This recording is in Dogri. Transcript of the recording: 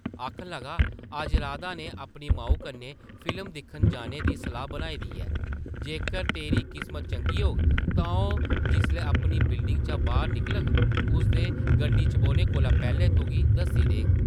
आखन लगा, अज्ज राधा नै अपनी माऊ कन्नै फिल्म दिक्खन जाने दी सलाह् बनाई दी ऐ । जेकर तेरी किस्मत चंगी होग तां ओह् जिसलै अपनी बिल्डिङ चा बाह्र निकलग, उसदे गड्डी च बौह्ने कोला पैह्लें तुगी दस्सी देङ ।